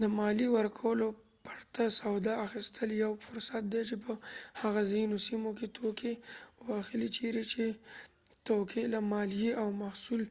د ماليې ورکولو پرته سودا اخيستل يو فرصت دی چې په هغه ځینو سيمو کې توکي واخلئ چيرې چې توکې له ماليې او محصول